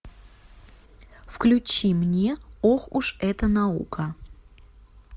включи мне ох уж эта наука